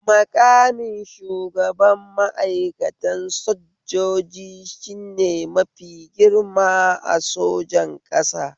Maƙamin shugaban ma'aikatan sojjoji shne mafi girma a sojan ƙasa